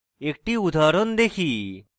একটি উদাহরণ দেখি